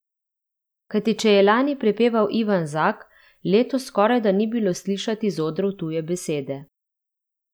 Kajti če je lani prepeval Ivan Zak, letos skorajda ni bilo slišati z odrov tuje besede.